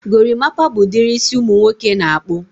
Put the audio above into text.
gorimapa bụ ụdịrị isi ụmụ nwoke na-akpụ.